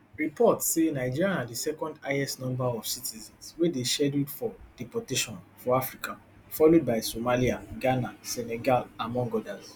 reports say nigeria na di second highest number of citizens wey dey scheduled for deportation for africa followed by somalia ghana senegal among odas